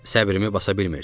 Səbrimi basa bilmirdim.